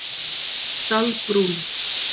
Dalbrún